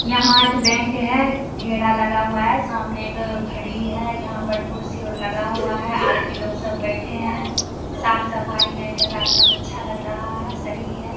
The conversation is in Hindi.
यहां एक बैंक है घेरा लगा हुआ है सामने एक घड़ी है यहां पर कुर्सी और लगा हुआ है आदमी लोग सब बैठे है साफ-सफाई बैंक के आगे एकदम अच्छा लग रहा है सही है।